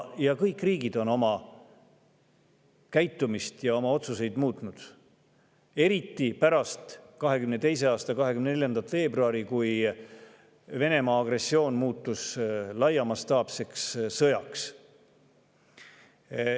Kõik riigid on oma käitumist ja otsuseid muutnud, eriti pärast 2022. aasta 24. veebruari, kui Venemaa agressioon muutus mastaapseks sõjaks.